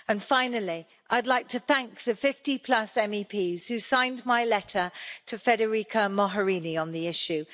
Finally, I'd like to thank the 50 plus MEPs who signed my letter to Federica Mogherini on the issue.